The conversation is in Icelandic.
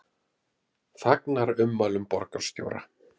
Fagnar ummælum borgarstjóra